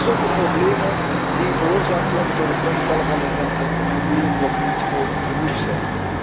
Alsof de problemen die veroorzaakt worden door het wegvallen van de grenzen nog niet groot genoeg zijn!